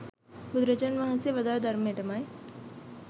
බුදුරජාණන් වහන්සේ වදාළ ධර්මයටමයි